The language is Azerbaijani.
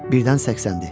Birdən səksəndi.